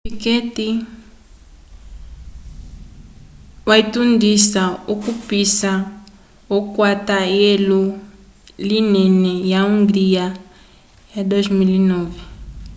piquet jr wotundisa okupisa okwata eulo linene ya hungria ya 2009